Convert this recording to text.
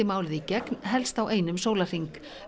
málið í gegn helst á einum sólarhring